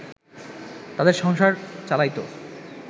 তাদের সংসার চালাইত